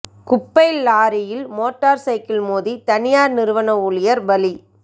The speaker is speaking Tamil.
குப்பை லாரியில் மோட்டார் சைக்கிள் மோதி தனியார் நிறுவன ஊழியர் பலி